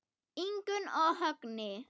Ingunn og Högni.